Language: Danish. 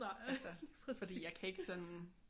Altså fordi jeg kan ikke sådan